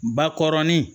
Bakɔrɔnin